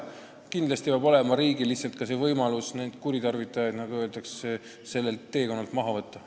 Aga kindlasti peab riik ka saama nende võimaluste kuritarvitajaid sellelt teekonnalt maha võtta.